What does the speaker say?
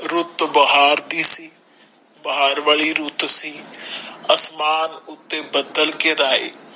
ਰੁੱਤ ਬਹਾਰ ਦੀ ਸੀ ਬਹਾਰ ਵਾਲੀ ਰੁੱਤ ਸੀ ਅਸਮਾਨ ਉੱਥੇ ਬਦਲ ਖ਼ਿਰ ਆਏ